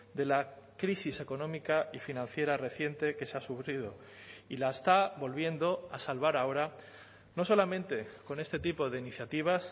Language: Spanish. de la crisis económica y financiera reciente que se ha sufrido y la está volviendo a salvar ahora no solamente con este tipo de iniciativas